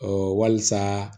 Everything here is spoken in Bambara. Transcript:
walisa